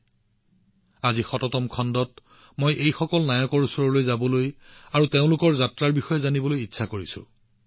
আজি যেতিয়া আমি শততম খণ্ডৰ মাইলৰ খুঁটিত উপনীত হৈছো মই লগতে বিচাৰিছো যে আমি আকৌ এবাৰ এই সকলো নায়কৰ যাত্ৰাৰ বিষয়ে জানিবলৈ তেওঁলোকৰ ওচৰলৈ যাওঁ